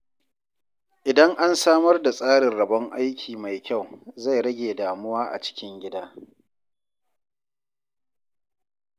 Idan an samar da tsarin rabon aiki mai kyau, zai rage damuwa a cikin gida.